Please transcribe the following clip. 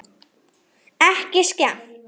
Ekki skemmt.